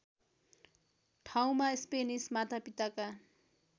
ठाउँमा स्पेनिस मातापिताका